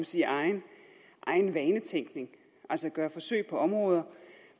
sige egen vanetænkning altså gøre forsøg på områder